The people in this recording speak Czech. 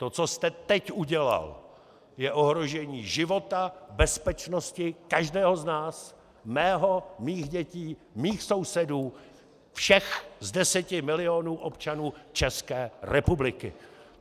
To, co jste teď udělal, je ohrožení života, bezpečnosti každého z nás, mého, mých dětí, mých sousedů, všech z deseti milionů občanů České republiky!